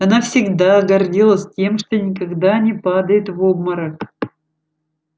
она всегда гордилась тем что никогда не падает в обморок